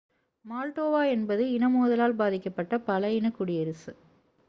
Moldova என்பது இன மோதலால் பாதிக்கப்பட்ட பல இன குடியரசு